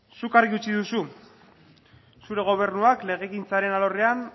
zuk argi utzi duzu zure gobernuak legegintzaren alorrean